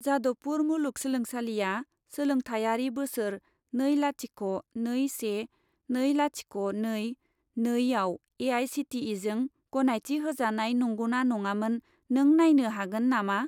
जादवपुर मुलुगसोलोंसालिआ सोलोंथायारि बोसोर नै लाथिख' नै से नै लाथिख' नै नै आव ए.आइ.सि.टि.इ.जों गनायथि होजानाय नंगौना नङामोन, नों नायनो हागोन नामा?